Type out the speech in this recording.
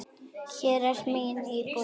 Hér er mín íbúð!